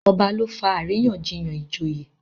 ọba ló fà àríyànjiyàn ìjòyè.